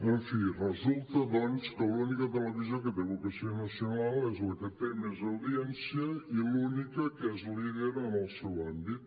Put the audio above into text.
en fi resulta doncs que l’única televisió que té vocació nacional és la que té més audiència i l’única que és líder en el seu àmbit